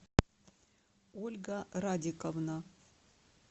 ольга радиковна